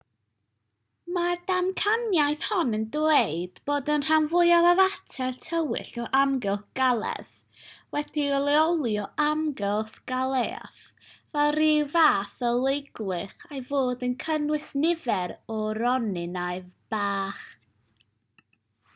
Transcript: mae'r ddamcaniaeth hon yn dweud bod y rhan fwyaf o fater tywyll o amgylch galaeth wedi'i leoli o amgylch galaeth fel rhyw fath o leugylch a'i fod yn cynnwys nifer o ronynnau bach